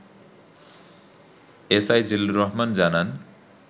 S I Zillur Rahman জানান